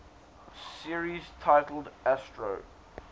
series titled astro